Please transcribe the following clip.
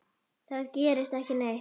Það gerist ekki neitt.